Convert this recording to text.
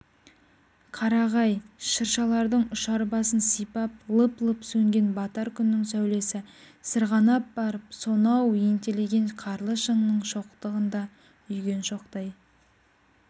қарағай-шыршалардың ұшар басын сипап лып-лып сөнген батар күннің сәулесі сырғанап барып сонау ентелеген қарлы шыңның шоқтығында үйген шоқтай